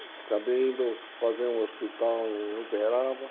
Acabei indo fazer um hospital em Uberaba.